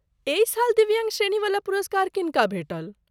एहि साल दिव्याङ्ग श्रेणीवला पुरस्कार किनका भेटल?